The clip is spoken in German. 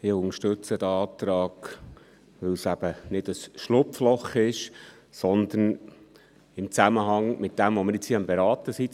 Ich unterstütze diesen Antrag, weil es eben nicht ein Schlupfloch ist, sondern im Zusammenhang steht mit dem, was wir hier gerade beraten.